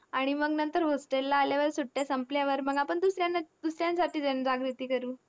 आणि मंग नंतर hostel ला आल्यावर सुट्ट्या संपल्यावर मग आपण दुसऱ्याना दुसऱ्यांसाठी जनजागृती करू.